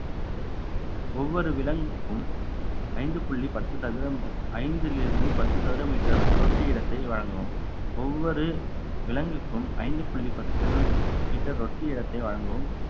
ஒவ்வொரு விலங்குக்கும் ஐந்து புள்ளி பத்து சதவீதம் ம~ ஐந்தில் இருந்து பத்து சதுர meter ரொட்டி இடத்தை வழங்கவும் ஒவ்வொரு விலங்குக்கும் ஐந்து புள்ளி பத்து centimeter ரொட்டி இடத்தை வழங்கவும்